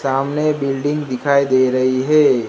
सामने बिल्डिंग दिखाई दे रही है।